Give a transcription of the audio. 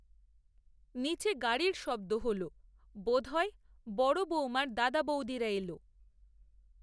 নিচে গাড়ির শব্দ হলো, বোধ হয় বড় বৌমার দাদা, বৌদিরা এলো